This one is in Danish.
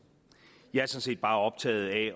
jeg tager set bare optaget af